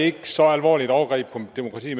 et så alvorligt overgreb på demokrati